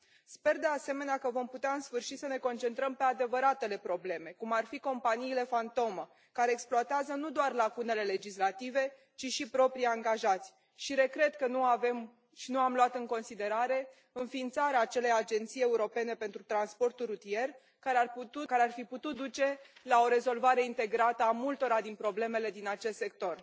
Sper de asemenea că vom putea în sfârșit să ne concentrăm pe adevăratele probleme, cum ar fi companiile fantomă care exploatează nu doar lacunele legislative, ci și proprii angajați și regret că nu avem și nu am luat în considerare înființarea acelei Agenții europene pentru transportul rutier care ar fi putut duce la o rezolvare integrată a multora din problemele din acest sector.